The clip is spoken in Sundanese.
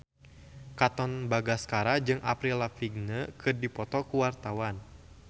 Katon Bagaskara jeung Avril Lavigne keur dipoto ku wartawan